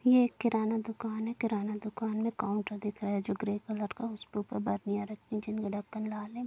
ये एक किराना दुकान है किराना दुकान में काउंटर दिख रहा है जो ग्रे कलर का उसके उपर रखी है जिनका ढक्कन लाल है।